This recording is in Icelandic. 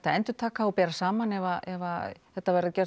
að endurtaka og bera saman ef þetta verður